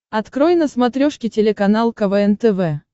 открой на смотрешке телеканал квн тв